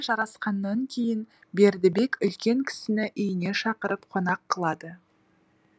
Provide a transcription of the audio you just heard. жарасқаннан кейін бердібек үлкен кісіні үйіне шақырып қонақ қылады